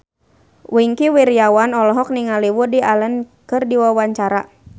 Wingky Wiryawan olohok ningali Woody Allen keur diwawancara